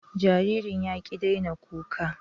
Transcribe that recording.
Jaririn ya ƙi daina kuka